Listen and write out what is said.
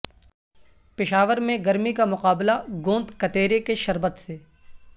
پشاور میں گرمی کا مقابلہ گوند کتیرے کے شربت سے